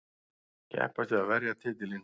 Keppast við að verja titilinn.